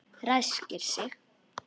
Ræskir sig.